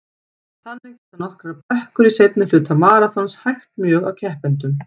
Þannig geta nokkrar brekkur í seinni hluta maraþons hægt mjög á keppendum.